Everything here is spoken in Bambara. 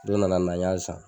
Don nana na n y'a san